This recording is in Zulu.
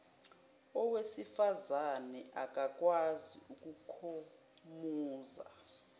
owesifazane akakwazi ukukhomuza